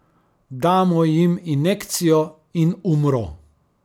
Damo jim injekcijo in umro.